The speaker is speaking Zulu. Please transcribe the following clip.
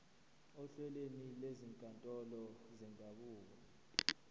ohlelweni lwezinkantolo zendabuko